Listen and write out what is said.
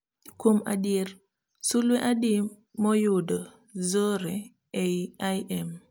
Kuom adier sulwe adi moyudo zore eiy I. M